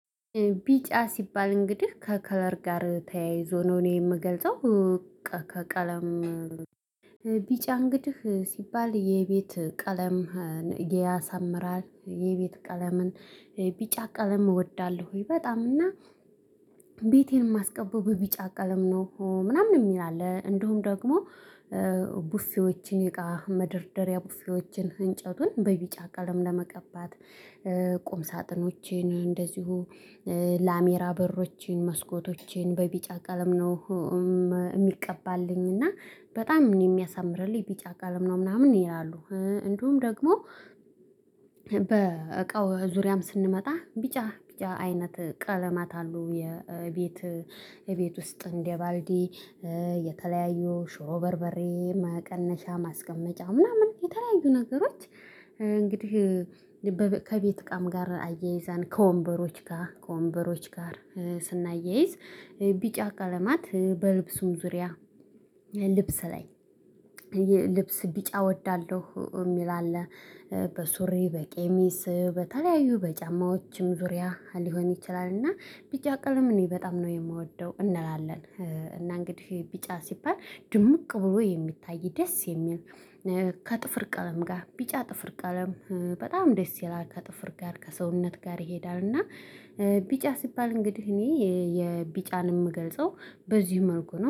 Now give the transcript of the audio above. ቢጫ ሲባል እንግዲህ ከከለር ጋር ተያይዞ ነው እኔ የምገልጸው። ከቀለም ቢጫ እንግዲህ ሲባል የቤት ቀለምን ያሳምራል። የቤት ቀለምን ቢጫ ቀለም እወዳለሁ? ወይ በጣም እና። ቤቴን የማስቀበው ቢጫ ቀለም ነው ምናምን የሚል አለ። እንደውም ደግሞ ቡፊዎችን እቃ መደርደሪያ ቡፊዎችን እንጨቱን በቢጫ ቀለም ለመቀባት። ቁም ሳጥኖቼን እንደዚሁ ላሚራ በሮችን መስኮቶችን በቢጫ ቀለም ነው። የሚቀባልኝ እና በጣም የሚያሳምርልኝ ቢጫ ቀለም ነው ምናምን ይላሉ። እንደውም ደግሞ በእቃው ዙሪያም ስንመጣ ቢጫ ቢጫ አይነት ቀለማት አሉ። የቤት ቤት ውስጥ እንደ ባልዲ የተለያዩ ሾሮ በርበሬ መቀነሻ ማስቀመጫ ምናምን የተለያዩ ነገሮች። እንግዲህ ከቤት እቃም ጋር አያይዛን ከወንበሮች ጋር ከወንበሮች ጋር ስናያይዝ። ቢጫ ቀለማት በልብሱም ዙሪያ ልብስ ላይ ልብስ ቢጫ እወዳለሁ የሚል አለ። በሱሪ በቄሚስ በተለያዩ በጫማዎችም ዙሪያ ሊሆን ይችላል። እና ቢጫ ቀለም እኔ በጣም ነው የምወደው እንላለን። እና እንግዲህ ቢጫ ሲባል ድምቅ ብሎ የሚታይ ደስ የሚል። ከጥፍር ቀለም ጋር ቢጫ ጥፍር ቀለም በጣም ደስ የላልከ ከጥፍር ጋር ከሰውነት ጋር ይሄዳል። እና ቢጫ ሲባል እንግዲህ እኔ የቢጫን የምገልጸው በዚህ መልኩ ነው